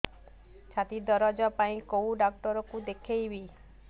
ଛାତି ଦରଜ ପାଇଁ କୋଉ ଡକ୍ଟର କୁ ଦେଖେଇବି